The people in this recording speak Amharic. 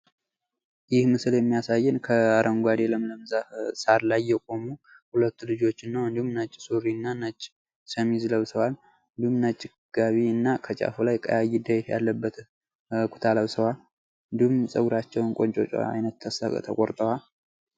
ይህ መሰል የሚያሳየን ከ አረንጓዴ ለምለም ዛፍ የቆሙ ሁለት ልጆችን እንዲሁም ነጭ ሱሪ ነጭ ሸሚዝ ለብሰዋል። እንዲሁም ነች ጋቢና ከጫፉ ላይ ቀያይጥለት ያለበትም ኩታ ለብሰዋል። እንዲሁም ጸጉራቸውን ቁንጮ ዓይነት ተቆርጠዋል።